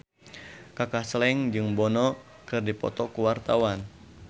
Kaka Slank jeung Bono keur dipoto ku wartawan